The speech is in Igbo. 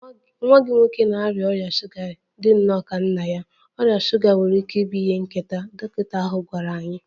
Nwa gị nwoke na-arịa ọrịa shuga dị nnọọ ka nna ya, ọrịa shuga nwere ike ịbụ ihe nketa, dọkịta ahụ gwara anyị.